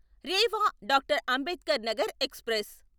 Rewa doctor Ambedkar Nagar express